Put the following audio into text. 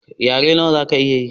Yare nawa zaka iya ye?